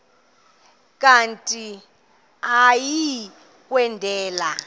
kanti uia kwendela